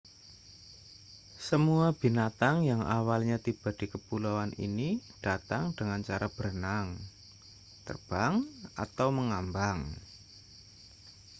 semua binatang yang awalnya tiba di kepulauan ini datang dengan cara berenang terbang atau mengambang